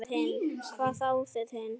Hvað þá þið hin.